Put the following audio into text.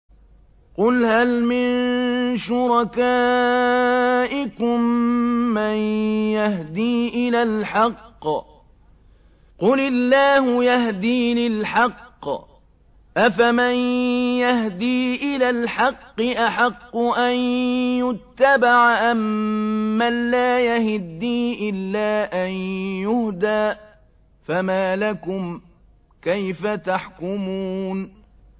قُلْ هَلْ مِن شُرَكَائِكُم مَّن يَهْدِي إِلَى الْحَقِّ ۚ قُلِ اللَّهُ يَهْدِي لِلْحَقِّ ۗ أَفَمَن يَهْدِي إِلَى الْحَقِّ أَحَقُّ أَن يُتَّبَعَ أَمَّن لَّا يَهِدِّي إِلَّا أَن يُهْدَىٰ ۖ فَمَا لَكُمْ كَيْفَ تَحْكُمُونَ